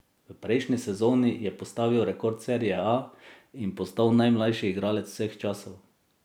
V prejšnji sezoni je postavil rekord serie A in postal najmlajši igralec vseh časov.